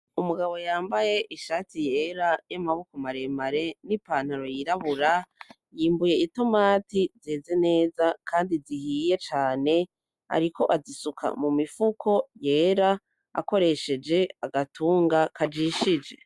Umugabo yambaye ishati yera y'amaboko maremare n'ipantaro yirabura, yimbuye itomati zeze neza kandi zihiye cane ariko azisuka mu mifuko yera akoresheje agatunga kajishije.